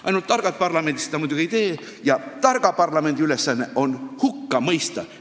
Ainult et targad parlamendid seda muidugi ei tee, targa parlamendi ülesanne on hukka mõista.